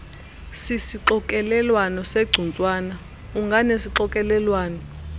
sisixokelelwano segcuntswana unganesixokelelwano